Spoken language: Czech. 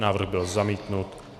Návrh byl zamítnut.